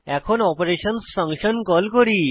এখন অপারেশনসহ function call করি